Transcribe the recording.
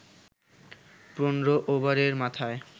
১৫ ওভারের মাথায়